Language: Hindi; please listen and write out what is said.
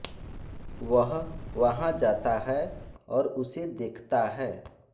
वह वहाँ जाता है और उसे देखता है